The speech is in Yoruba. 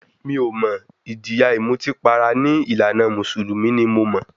Mi ò mọ̀, ìjìyà ìmutípara ní ìlànà mùsùlùmí ni mo mọ̀.